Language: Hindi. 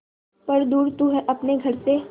पर दूर तू है अपने घर से